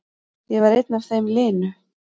Ég var einn af þeim linu.